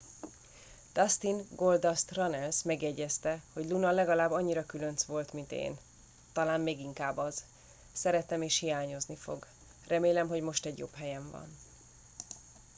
dustin goldust runnels megjegyezte hogy luna legalább annyira különc volt mint én talán még inkább az szeretem és hiányozni fog remélem hogy most egy jobb helyen van